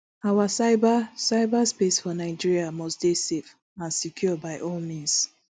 our cyber cyber space for nigeria must dey safe and secure by all means